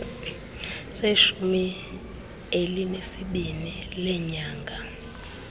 seshumi elinesibini leenyanga